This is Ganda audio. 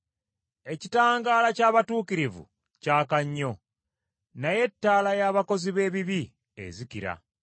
Ekitangaala ky’abatuukirivu kyaka nnyo, naye ettaala y’abakozi b’ebibi ezikira.